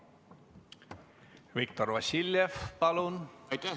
Viktor Vassiljev, palun!